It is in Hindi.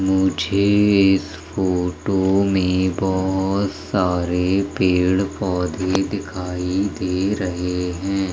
मुझे इस फोटो में बहोत सारे पेड़ पौधे दिखाई दे रहे है।